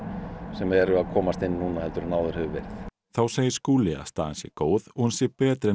sem eru að komast inn núna en áður hefur verið þá segir Skúli að staðan sé góð og hún sé betri en